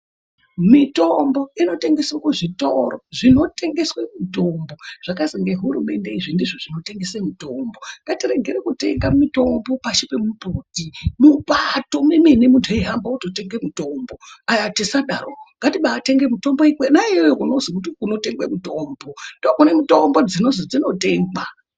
Mitombo inotengeswa muzvitoro zvinotengesa mitombo zvakazwi nehurumende izvo ngazvitengese mitombo. Ngatiregere kutenga mitombo pasi pemumbuti mupato memene muntu eihamba ototenga mitombo ,ngatisasadaro ngatitenge mitombo kona iyoyo kwadzakazwi dzinotengeswa.